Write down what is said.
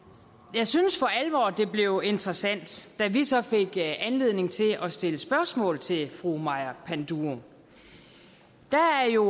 jeg synes for alvor det blev interessant da vi så fik anledning til at stille spørgsmål til fru maja panduro der er jo